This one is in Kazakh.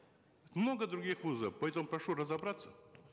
много других вузов поэтому прошу разобраться